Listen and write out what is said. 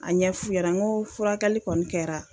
A ɲɛ f'u ɲɛnɛ ngo furakɛli kɔni kɛra